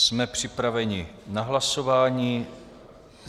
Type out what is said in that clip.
Jsme připraveni na hlasování.